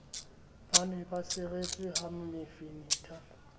ne ba seretswe ha mefenetha